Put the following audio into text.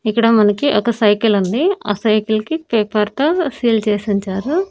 ఇక్కడ మనకి ఒక సైకిల్ ఉంది. ఆ సైకిల్ కి పేపర్ తో సీల్ చేసి ఉంచారు.